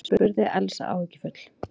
spurði Elsa áhyggjufull.